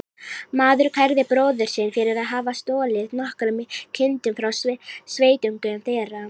Maður kærði bróður sinn fyrir að hafa stolið nokkrum kindum frá sveitungum þeirra.